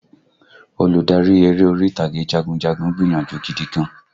Olùdarí eré orí ìtàgé jagunjagun gbìyànjú gidi gan-an